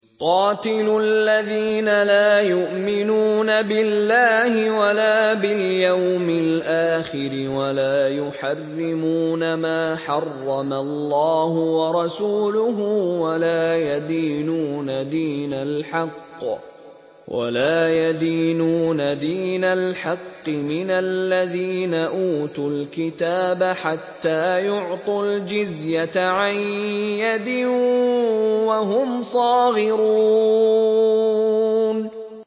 قَاتِلُوا الَّذِينَ لَا يُؤْمِنُونَ بِاللَّهِ وَلَا بِالْيَوْمِ الْآخِرِ وَلَا يُحَرِّمُونَ مَا حَرَّمَ اللَّهُ وَرَسُولُهُ وَلَا يَدِينُونَ دِينَ الْحَقِّ مِنَ الَّذِينَ أُوتُوا الْكِتَابَ حَتَّىٰ يُعْطُوا الْجِزْيَةَ عَن يَدٍ وَهُمْ صَاغِرُونَ